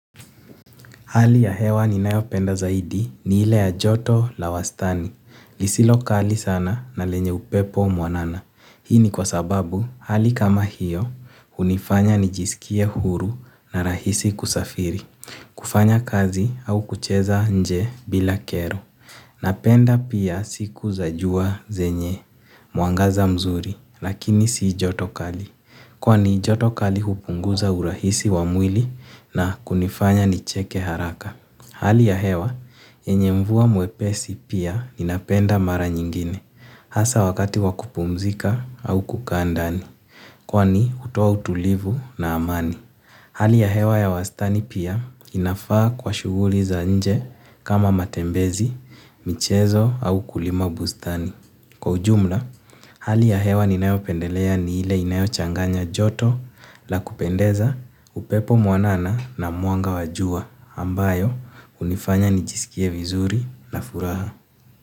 Hali ya hewa ninayo penda zaidi ni ile ya joto la wastani. Lisilokali sana na lenye upepo mwanana. Hii ni kwa sababu hali kama hiyo unifanya nijisikie huru na rahisi kusafiri. Kufanya kazi au kucheza nje bila kero. Napenda pia siku za jua zenye. Mwangaza mzuri lakini si joto kali. Kwani joto kali hupunguza urahisi wa mwili na kunifanya nicheke haraka. Hali ya hewa, yenye mvua mwepesi pia ninapenda mara nyingine, hasa wakati wa kupumzika au kukaa ndani, kwani hutoa utulivu na amani. Hali ya hewa ya wastani pia inafaa kwa shuguli za nje kama matembezi, michezo au kulima bustani. Kwa ujumla, hali ya hewa ninayo pendelea ni ile inayo changanya joto la kupendeza upepo mwanana na mwanga wa jua ambayo unifanya nijisikie vizuri na furaha.